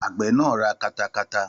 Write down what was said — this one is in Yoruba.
Àgbẹ̀ náà ra katakata